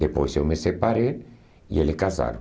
Depois eu me separei e eles casaram.